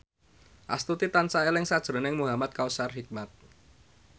Astuti tansah eling sakjroning Muhamad Kautsar Hikmat